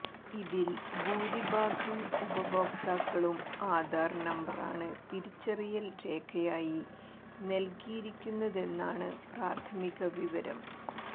ഇതിൽ ഭൂരിഭാഗം ഉപഭോക്താക്കളും ആധാർ നമ്പറാണ് തിരിച്ചറിയിൽ രേഖയായി നൽകിയിരിക്കുന്നതെന്നാണ് പ്രാഥമിക വിവരം